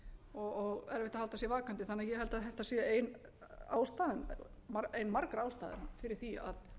og erfitt að halda sér vakandi þannig að ég held að þetta sé ein margra ástæðna fyrir því að